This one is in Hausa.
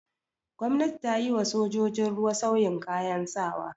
Gwamnati ta yi wa sojojin ruwa sauyin kayan sawa.